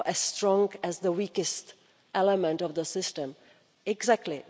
strong as the weakest element of the system exactly!